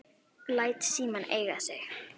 Læt símann eiga sig.